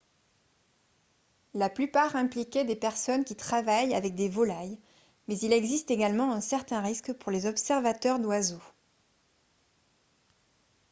la plupart impliquaient des personnes qui travaillent avec des volailles mais il existe également un certain risque pour les observateurs d'oiseaux